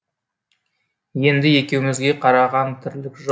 енді екеумізге қараған тірлік жоқ